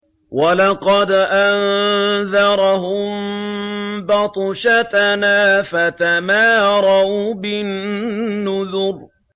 وَلَقَدْ أَنذَرَهُم بَطْشَتَنَا فَتَمَارَوْا بِالنُّذُرِ